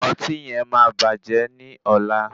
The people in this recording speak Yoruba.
Ọtí yen máa bàjẹ́ ní ọ̀la.